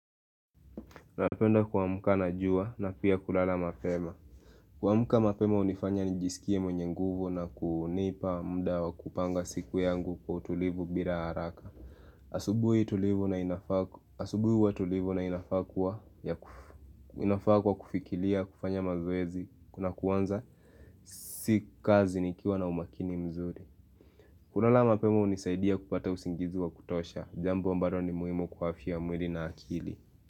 Napenda kuamka na jua na pia kulala mapema. Kuamka mapema hunifanya nijisikie mwenye nguvu na kunipa mda wa kupanga siku yangu kwa utulivu bila haraka asubuhi huwa tulivu na inafaa kuwa ya kuf, inafaa kwa kufikiria, kufanya mazoezi, kuna kuanza si kazi nikiwa na umakini mzuri kulala mapema hunisaidia kupata usingizi wa kutosha, jambo ambalo ni muhimu kwa afia ya mwili na akili.